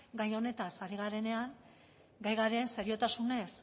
gai honetaz ari garenean gai garen seriotasunez